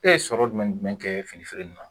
E ye sɔrɔ jumɛn ni jumɛn kɛ fini feere in na